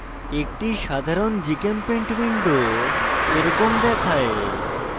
একটি সাধারণ gchempaint window এরকম দেখায়